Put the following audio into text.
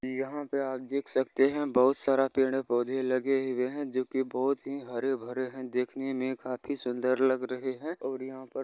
यहां पे आप देख सकते हैं बहुत सारा पेड़-पौधे लगे हुए हैं जो की बहुत ही हरे-भरे हैं देखने में काफी सुंदर लग रहे हैं और यहाँ पर--